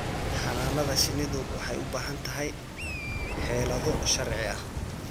Xannaanada shinnidu waxay u baahan tahay xeelado sharci ah.